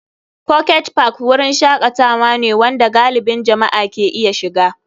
Pocket Park wurin shakatawa ne wanda galibin jama'a ke iya shiga.